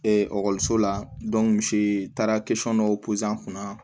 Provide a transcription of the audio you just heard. ekɔliso la misi taara dɔ kunna